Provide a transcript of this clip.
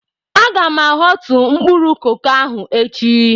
Aga m ahọtu mkpụrụ koko ahụ echi.